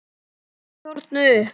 Kýrnar þornuðu upp.